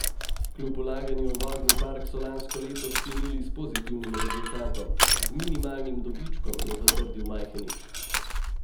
Kljub vlaganju v vozni park so lansko leto sklenili s pozitivnim rezultatom, z minimalnim dobičkom, je zatrdil Majhenič.